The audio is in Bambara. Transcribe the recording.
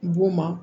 B'u ma